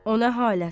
O nə halət?